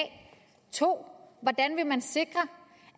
2 hvordan vil man sikre